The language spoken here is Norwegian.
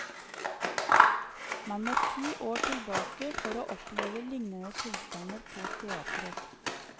Man må ti år tilbake for å oppleve lignende tilstander på teatret.